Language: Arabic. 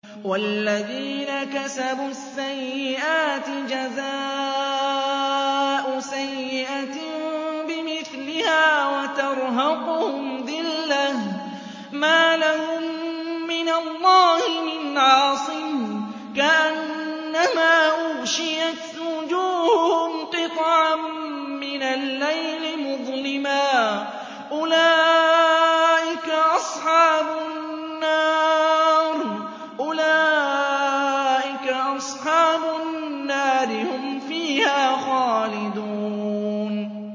وَالَّذِينَ كَسَبُوا السَّيِّئَاتِ جَزَاءُ سَيِّئَةٍ بِمِثْلِهَا وَتَرْهَقُهُمْ ذِلَّةٌ ۖ مَّا لَهُم مِّنَ اللَّهِ مِنْ عَاصِمٍ ۖ كَأَنَّمَا أُغْشِيَتْ وُجُوهُهُمْ قِطَعًا مِّنَ اللَّيْلِ مُظْلِمًا ۚ أُولَٰئِكَ أَصْحَابُ النَّارِ ۖ هُمْ فِيهَا خَالِدُونَ